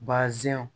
Baazɛnw